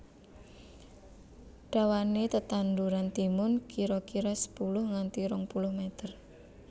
Dawané tetanduran timun kira kira sepuluh nganti rong puluh meter